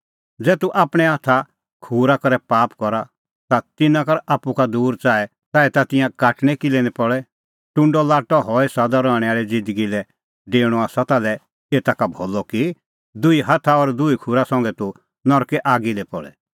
ज़ै तूह आपणैं हाथा खूरा करै पाप करा ता तिन्नां कर आप्पू का दूर च़ाऐ ताह तिंयां काटणै किल्है निं पल़े टुंडअ लाट्टअ हई सदा रहणैं आल़ी ज़िन्दगी लै डेऊणअ आसा ताल्है एता का भलअ कि दुही हाथा और दुही खूरा संघै तूह नरके आगी दी पल़े